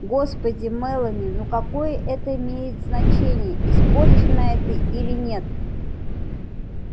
господи мелани ну какое это имеет значение испорченная ты или нет